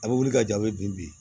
A bɛ wuli ka ja a bɛ bin bi